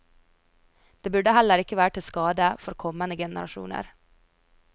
Det burde heller ikke være til skade for kommende generasjoner.